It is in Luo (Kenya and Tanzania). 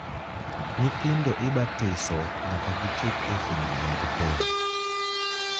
Nyithindo ibatiso nyaka gichop e higni mag pong`.